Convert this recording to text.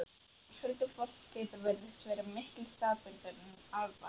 Huldufólkið virðist vera miklu staðbundnara en álfarnir.